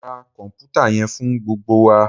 Mo ra kọnputa yẹn fun gbogbo wa!